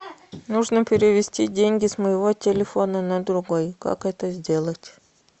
нужно перевести деньги с моего телефона на другой как это сделать